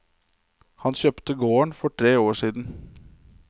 Han kjøpte gården for tre år siden.